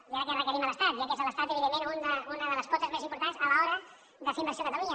i ara que ho requerim a l’estat ja que és l’estat evidentment una de les potes més importants a l’hora de fer inversió a catalunya